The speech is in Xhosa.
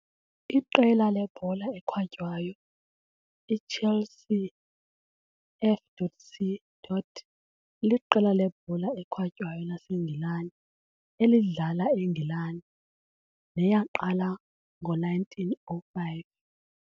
Iqela lebhola ekhatywayo iChelsea F.C. liqela lebhola ekhatywayo laseNgilane elidlala eNgilane, neyaqala ngo-1905.